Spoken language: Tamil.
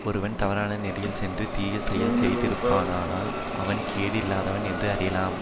ஒருவன் தவறான நெறியில் சென்று தீயசெயல் செய்யாதிருப்பானானால் அவன் கேடு இல்லாதவன் என்று அறியலாம்